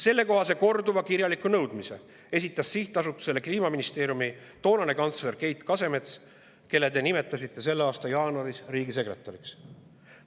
Selle kohta esitas sihtasutusele korduvalt kirjaliku nõudmise Kliimaministeeriumi toonane kantsler Keit Kasemets, kelle te nimetasite selle aasta jaanuaris riigisekretäriks.